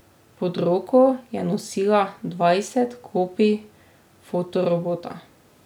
Pod roko je nosila dvajset kopij fotorobota.